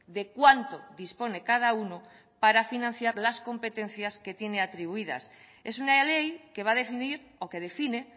de cuánto dispone cada uno para financiar las competencias que tiene atribuidas es una ley que va a definir o que define